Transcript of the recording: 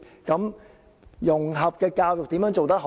怎樣做好融合教育呢？